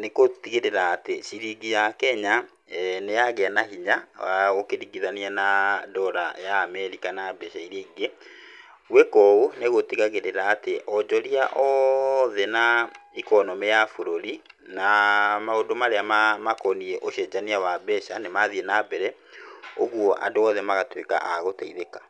nĩ kũtigĩrĩra atĩ ciringi ya Kenya nĩ yagia na hinya wa ũkĩringĩthania na dollar ya Amerika na mbeca iria ingĩ. Gwĩka ũũ nĩ gũtigagĩrĩra atĩ aonjoria othe na economy ya bũrũri na maũndũ marĩa makoniĩ ũcenjania wa mbeca nĩ mathiĩ nambere, ũguo andũ othe magatuĩka a gũteithĩka.